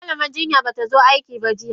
Malaman jinyan batazo aikiba jiya.